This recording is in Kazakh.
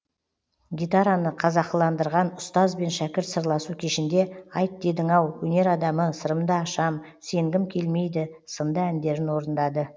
гитараны қазақыландырған ұстаз бен шәкірт сырласу кешінде айт дедің ау өнер адамы сырымды ашам сенгім келмейді сынды әндерін орындады